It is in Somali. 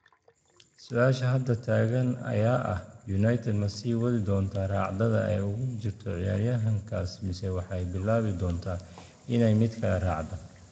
Su'aasha hadda taagan ayaa ah, United ma sii wadi doontaa raacdada ay ugu jirto ciyaaryahankaas mise waxay bilaabi doontaa inay mid kale raacdo?